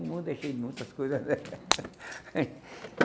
O mundo é cheio de muitas coisas.